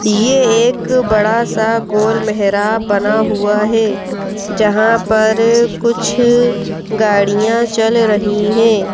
ये एक बड़ा सा गोल मेहराब बना हुआ है जहाँ पर कुछ गाड़ियाँ चल रही हैं।